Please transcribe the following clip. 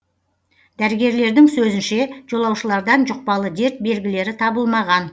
дәрігерлердің сөзінше жолаушылардан жұқпалы дерт белгілері табылмаған